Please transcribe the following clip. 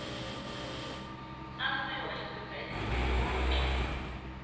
asiwa esibhedlele onke